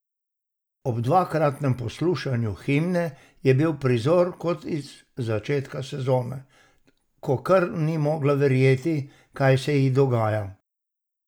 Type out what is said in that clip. Ob dvakratnem poslušanju himne je bil prizor kot iz začetka sezone, ko kar ni mogla verjeti, kaj se ji dogaja?